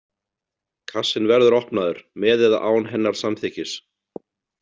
Kassinn verður opnaður, með eða án hennar samþykkis.